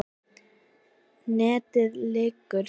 NETIÐ LÝKUR